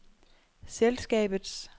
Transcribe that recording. selskabets